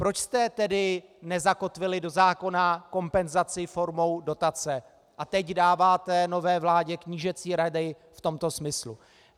Proč jste tedy nezakotvili do zákona kompenzaci formou dotace a teď dáváte nové vládě knížecí rady v tomto smyslu?